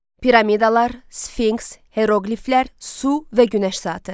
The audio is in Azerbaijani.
Piramidalar, sfinks, heroqliflər, su və günəş saatı.